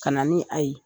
Ka na ni a ye